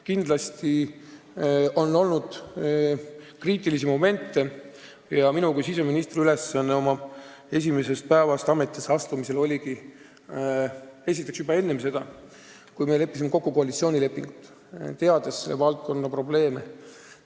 Kindlasti on olnud kriitilisi momente ja minu kui siseministri ülesanne on esimesest päevast peale olnud tulla välja ettepanekutega, mis puudutavad, nagu öeldakse, eksistentsiaalselt kriitilisi probleeme.